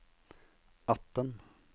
atten